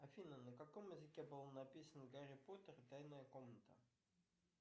афина на каком языке был написан гарри поттер и тайная комната